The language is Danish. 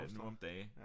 Nu om dage